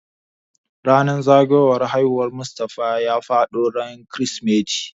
Ranan zagayowar haihuwar Mustafa ya faɗo ran kirismeti